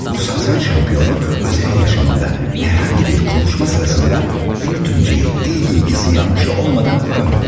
Bu satranç şampiyonu özel yaşamında herhangi bir konuşma sırasında bir tümceyi dil bilgisi yanlışı olmadan kuramıyordu.